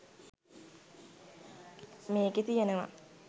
මේකේ තියනවා